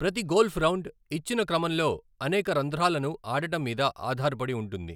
ప్రతి golf round, ఇచ్చిన క్రమంలో అనేక రంధ్రాలను ఆడటం మీద ఆధారపడి ఉంటుంది.